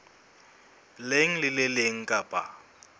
leng le le leng kapa